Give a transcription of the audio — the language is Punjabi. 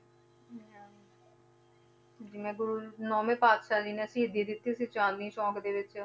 ਜਿਵੇਂ ਗੁਰੂ ਨੋਵੇਂ ਪਾਤਿਸ਼ਾਹ ਜੀ ਨੇ ਸ਼ਹੀਦੀ ਦਿੱਤੀ ਸੀ ਚਾਂਦਨੀ ਚੌਂਕ ਦੇ ਵਿੱਚ